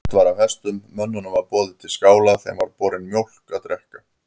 Sprett var af hestum, mönnunum var boðið til skála, þeim var borin mjólk að drekka.